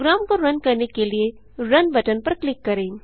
programme को run करने के लिए रुन बटन पर क्लिक करें